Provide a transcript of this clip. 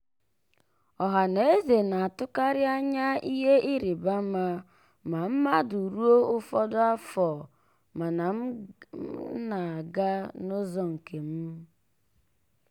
ọhaneze na-atụkarị anya ihe ịrịbama ma mmadụ ruo ụfọdụ afọ mana m na-aga n'ụzọ nke m.